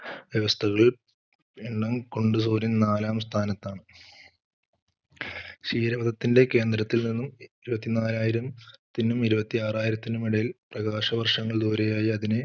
വ്യവസ്ഥകൾ എണ്ണം കൊണ്ട് സൂര്യൻ നാലാം സ്ഥാനത്താണ്. ക്ഷീരപഥത്തിൻറെ കേന്ദ്രത്തിൽ നിന്നും ഇരുപത്തിനാലായിരത്തിനും ഇരുപത്തിആറായിരത്തിനും ഇടയിൽ പ്രകാശവർഷങ്ങൾ ദൂരെയായി അതിനെ